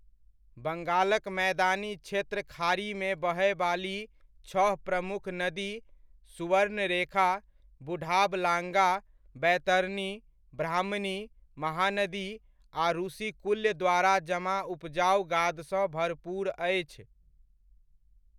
बंगालक मैदानी क्षेत्र खाड़ीमे बहयवाली छह प्रमुख नदी सुवर्णरेखा, बुढ़ाबलांगा, बैतरनी, ब्राह्मणी, महानदी आ रुशिकुल्य द्वारा जमा उपजाउ गादसँ भरपूर अछि।